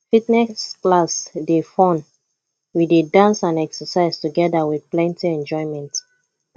fitness class dey fun we dey dance and exercise together with plenty enjoyment